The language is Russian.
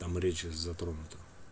там речь затронута